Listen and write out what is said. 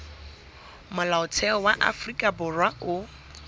molaotheo wa afrika borwa o